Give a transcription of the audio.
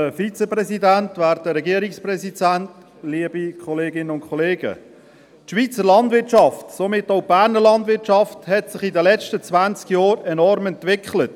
Die Schweizer Landwirtschaft, und somit auch die Berner Landwirtschaft, hat sich in den letzten zwanzig Jahren enorm entwickelt.